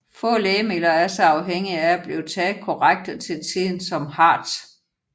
Få lægemidler er så afhængige af at blive taget korrekt og til tiden som HAART